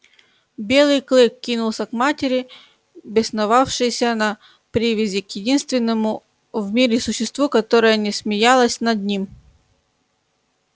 белый клык кинулся к матери бесновавшейся на привязи к единственному в мире существу которое не смеялось над ним